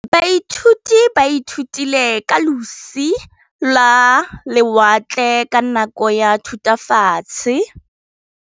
Baithuti ba ithutile ka losi lwa lewatle ka nako ya Thutafatshe.